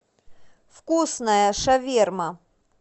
вкусная шаверма